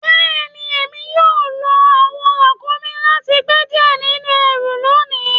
Bẹẹni, èmi yóò lọ awọn ràkúmí láti gbẹ diẹ̀ nínu ẹ̀rù lónì.